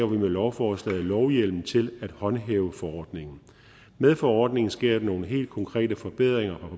vi med lovforslaget lovhjemmel til at håndhæve forordningen med forordningen sker der nogle helt konkrete forbedringer